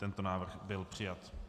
Tento návrh byl přijat.